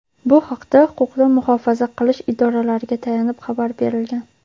Bu haqda huquqni muhofaza qilish idoralariga tayanib xabar berilgan.